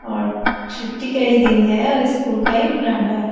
आज छुट्टी का दिन है और स्कूल का ये बरंडा है।